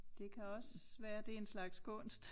Det kan også være det en slags kunst